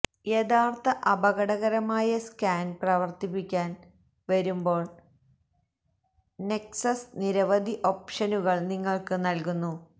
യഥാർത്ഥ അപകടകരമായ സ്കാൻ പ്രവർത്തിപ്പിക്കാൻ വരുമ്പോൾ നെക്സസ് നിരവധി ഓപ്ഷനുകൾ നിങ്ങൾക്ക് നൽകുന്നു